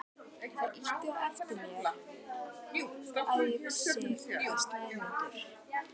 Það ýtti á eftir mér að ég vissi að Sæmundur